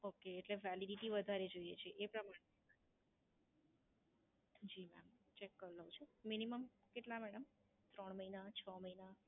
Okay, એટલે Validity વધારે જોઈએ છે? એ પ્રમાણે? જી મેડમ ચેક કરી લઉં છું. Minimum કેટલા મેડમ ત્રણ મહિના, છ મહિના.